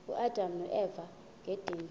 uadam noeva ngedinga